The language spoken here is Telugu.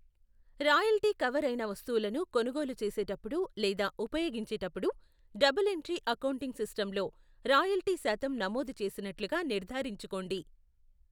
రాయల్టీ కవర్ అయిన వస్తువులను కొనుగోలు చేసేటప్పుడు లేదా ఉపయోగించేటప్పుడు, డబుల్ ఎంట్రీ అకౌంటింగ్ సిస్టమ్లో రాయల్టీ శాతం నమోదు చేసినట్లుగా నిర్ధారించుకోండి.